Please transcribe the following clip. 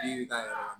Yiri ta yɔrɔ la